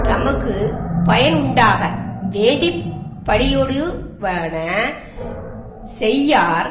தமக்கு பயனுண்டாக வேண்டிப் பழியொடுபடுவன செய்யார்